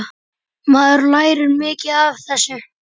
Maður lærir mikið af þessu.